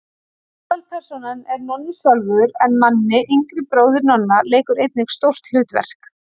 Aðalpersónan er Nonni sjálfur en Manni, yngri bróðir Nonna, leikur einnig stórt hlutverk.